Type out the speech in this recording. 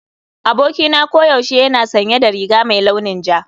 Abokina koyaushe yana sanye da riga mai launin ja.